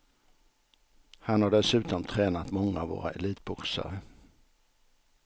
Han har dessutom tränat många av våra elitboxare.